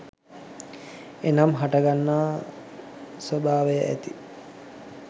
එනම්, හටගන්නා ස්වභාවය ඇති